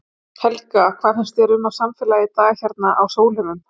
Helga: Hvað finnst þér um samfélagið í dag hérna á Sólheimum?